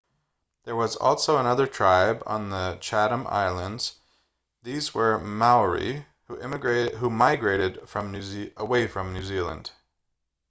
there was also another tribe on the chatham islands these were maori who migrated away from new zealand